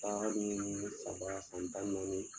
ni saba san tan ni naani.